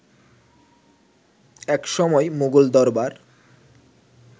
একসময় মুঘল দরবার